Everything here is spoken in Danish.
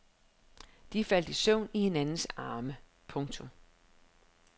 De faldt i søvn i hinandens arme. punktum